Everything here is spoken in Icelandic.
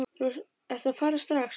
Ertu að fara strax?